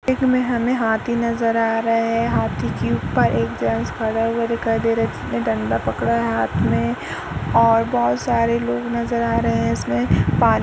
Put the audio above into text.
में हमें हाथी नज़र आ रहा है। हाथी के ऊपर एक जेंट्स खड़ा हुआ दिखाई दे रहा है जिसने डंडा पकड़ा है हाथ में और बहोत सारे लोग नज़र आ रहे हैं इसमें पानी --